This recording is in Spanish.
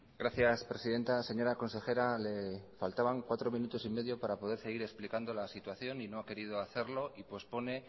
gracias presidenta señora consejera le faltaban cuatro minutos y medio para poder seguir explicando la situación y no ha querido hacerlo y pospone